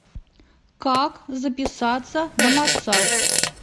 как записаться на массаж